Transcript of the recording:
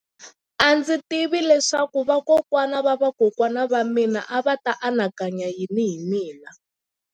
A ndzi tivi leswaku vakokwana-va-vakokwana va mina a va ta anakanya yini hi mina.